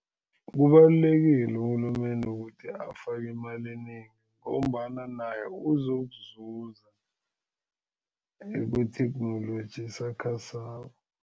Kubalulekile urhulumende ukuthi afake imali enengi ngombana naye uzokuzuza ekwetheknoloji esakhasako.